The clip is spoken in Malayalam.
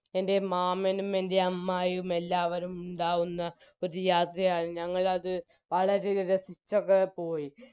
എൻറെ മാമനും എൻറെ അമ്മായിയും എല്ലാവരും ഉണ്ടാകുന്ന ഒരു യാത്രയാണ് ഞങ്ങളത് വളരെ രസിച്ചോക്കെ പോയി